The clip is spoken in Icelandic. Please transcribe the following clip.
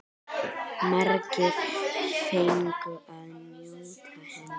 Margir fengu að njóta hennar.